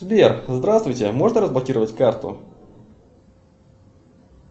сбер здравствуйте можно разблокировать карту